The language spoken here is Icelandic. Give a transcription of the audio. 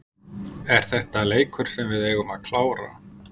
Er þetta leikur sem við eigum að klára?